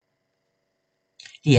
DR1